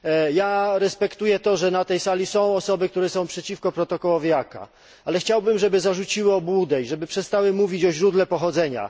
Ja respektuję to, że na tej sali są osoby, które są przeciwko protokołowi CAA, ale chciałbym, żeby zarzuciły obłudę i żeby przestały mówić o źródle pochodzenia.